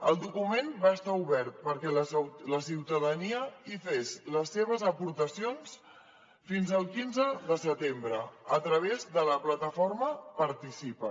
el document va estar obert perquè la ciutadania hi fes les seves aportacions fins al quinze de setembre a través de la plataforma participa